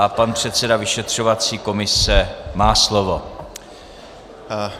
A pan předseda vyšetřovací komise má slovo.